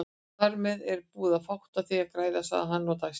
Þarmeð er það búið og fátt á því að græða, sagði hann og dæsti.